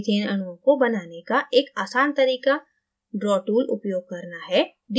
methaneअणुओं को बनाने का एक आसान तरीका draw toolउपयोग करना है